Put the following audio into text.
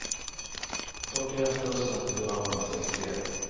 fyrtioett tusen fyrahundrasextioett